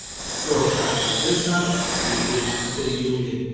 Svo skall á gusan: Týpiskt fyrir Júlíu!